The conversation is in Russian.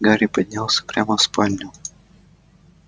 гарри поднялся прямо в спальню